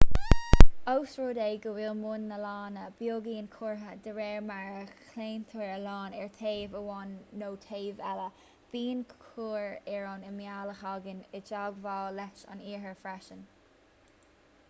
ós rud é go bhfuil bun na lainne beagáinín cuartha dé réir mar a chlaontar an lann ar thaobh amháin nó taobh eile bíonn cuar ar an imeall a thagann i dteagmháil leis an oighear freisin